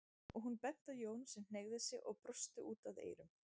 og hún benti á Jón sem hneigði sig og brosti út að eyrum.